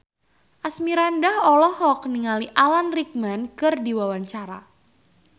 Asmirandah olohok ningali Alan Rickman keur diwawancara